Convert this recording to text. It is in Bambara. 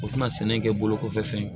O tɛna sɛnɛ kɛ bolo kɔfɛ fɛn ye